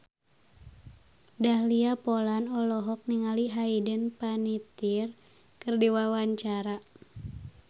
Dahlia Poland olohok ningali Hayden Panettiere keur diwawancara